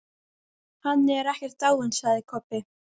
Hann er ekkert dáinn, sagði Kobbi.